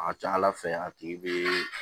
A ka ca ala fɛ a tigi bɛ